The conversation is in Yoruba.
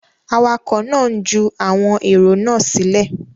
Awakọ̀ náà ń ju àwọn èrò náà sílẹ̀.